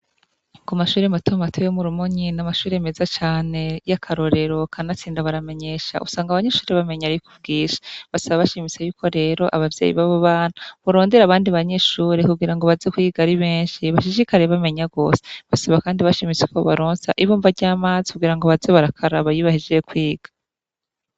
Ku mashuri matomato yo murumonyi n'amashuri meza cane y'akarorero kanatsinda baramenyesha usanga abanyeshure bamenye arikubwinshi basaba bashimise y'uko rero ababyeyi babo bana borondera abandi banyeshure kugirango baze kuyiga ari benshi bashishikare bamenya gwose basaba kandi bashimitse ko bobaronsa ibomba ry'amazi kugirango baze barakaraba iyo bahejeye kwiga.